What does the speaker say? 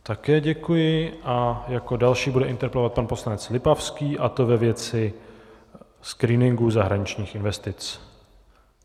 Také děkuji a jako další bude interpelovat pan poslanec Lipavský, a to ve věci screeningu zahraničních investic.